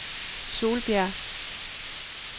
Solbjerg